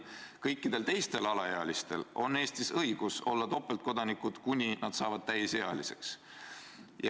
Kõikidel teistel alaealistel Eestis on õigus olla topeltkodanikud, kuni nad saavad täisealiseks.